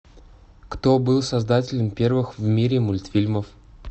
кто был создателем первых в мире мультфильмов